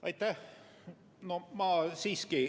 Aitäh!